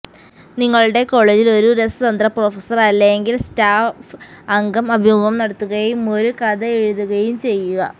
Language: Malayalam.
നിങ്ങളുടെ കോളേജിൽ ഒരു രസതന്ത്ര പ്രൊഫസർ അല്ലെങ്കിൽ സ്റ്റാഫ് അംഗം അഭിമുഖം നടത്തുകയും ഒരു കഥ എഴുതുകയും ചെയ്യുക